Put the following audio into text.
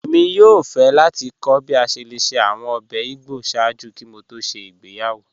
Ẹ̀mi yòò fẹ́ láti kọ̀ bí a ṣẹ́ lẹ̀ ṣẹ́ awọn ọ̀bẹ̀ ìgbọ́ sáàjú kí mò tó ṣẹ́ ìgbéyàwó